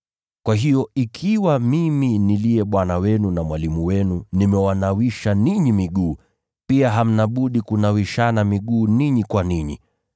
Kwa hiyo, ikiwa mimi niliye Bwana wenu na Mwalimu wenu nimewanawisha ninyi miguu, pia hamna budi kunawishana miguu ninyi kwa ninyi.